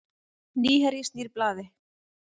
Nýherji snýr við blaði